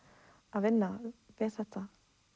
að vinna við þetta